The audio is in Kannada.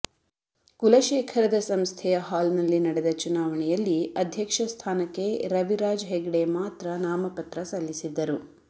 ಕುಲಶೇಖರದ ಸಂಸ್ಥೆಯ ಹಾಲ್ನಲ್ಲಿ ನಡೆದ ಚುನಾವಣೆಯಲ್ಲಿ ಅಧ್ಯಕ್ಷ ಸ್ಥಾನಕ್ಕೆ ರವಿರಾಜ್ ಹೆಗ್ಡೆ ಮಾತ್ರ ನಾಮಪತ್ರ ಸಲ್ಲಿಸಿದ್ದರು